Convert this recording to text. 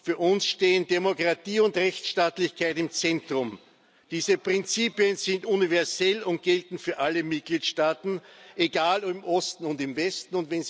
Für uns stehen Demokratie und Rechtsstaatlichkeit im Zentrum. Diese Prinzipien sind universell und gelten für alle Mitgliedstaaten, egal ob im Osten oder im Westen.